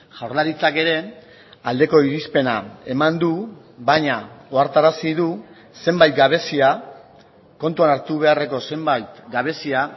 jaurlaritzak ere aldeko irizpena eman du baina ohartarazi du zenbait gabezia kontuan hartu beharreko zenbait gabezia